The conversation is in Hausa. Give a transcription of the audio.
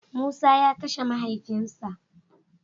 Musa ya Kashe mahaifin sa.